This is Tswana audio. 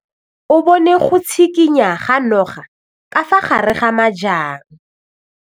O bone go tshikinya ga noga ka fa gare ga majang.